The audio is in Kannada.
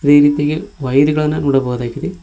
ಈ ರೀತಿಗೆ ವೈರ್ ಗಳನ್ನ ನೋಡಬಹುದಾಗಿದೆ.